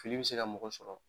Fili b'i se ka mɔgɔ sɔrɔ.